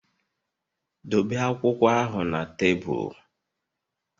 Dobe akwụkwọ ahụ na tebụl!